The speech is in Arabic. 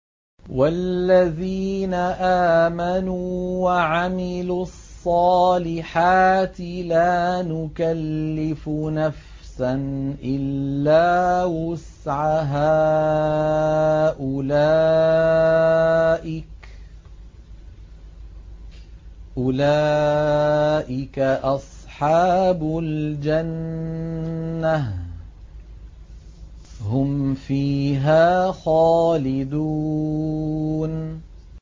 وَالَّذِينَ آمَنُوا وَعَمِلُوا الصَّالِحَاتِ لَا نُكَلِّفُ نَفْسًا إِلَّا وُسْعَهَا أُولَٰئِكَ أَصْحَابُ الْجَنَّةِ ۖ هُمْ فِيهَا خَالِدُونَ